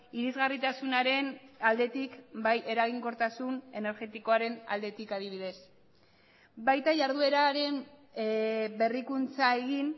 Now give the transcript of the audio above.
irisgarritasunaren aldetik bai eraginkortasun energetikoaren aldetik adibidez baita jardueraren berrikuntza egin